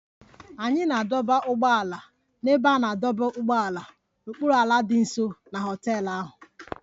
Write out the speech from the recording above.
Anyị na-adọba ụgbọala n'ebe a na-adọba ụgbọala n'okpuru ala dị nso na họtel ahụ